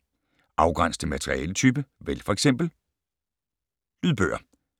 Afgræns til materialetype: vælg f.eks. lydbøger